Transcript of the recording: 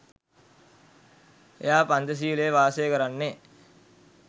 එයා පංචසීලයේ වාසය කරන්නේ